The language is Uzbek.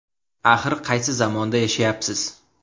Axir qaysi zamonda yashayapsiz?